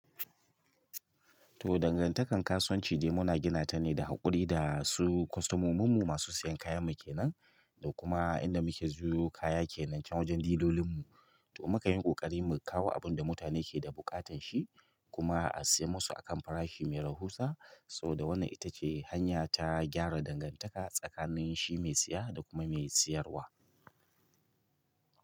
To dangantakar kasuwanci dai muna gina ta ne da haƙuri da su kostomominmu masu sayan kayan mu kenan da kuma inda muke siyo kaya kenan can wajen dilolinmu. To muka yi ƙoƙari mu kawo abin da mutane ke da buƙatan shi kuma a sayar musu a kan farashi mai rahusa. Saboda wannan ita ce hanya ta gyara dangantaka tsakanin shi mai siya da kuma mai siyarwa.